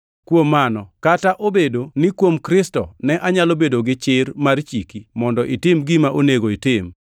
Kuom mano, kata obedo ni kuom Kristo ne anyalo bedo gi chir mar chiki mondo itim gima onego itim,